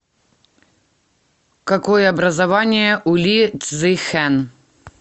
какое образование у ли цзихэн